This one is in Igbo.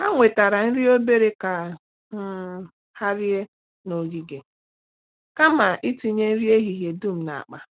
Ha wetara nri obere ka um ha rie n’ogige kama itinye nri ehihie dum n’akpa.